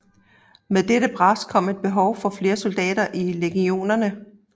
Med dette pres kom et behov for flere soldater i legionerne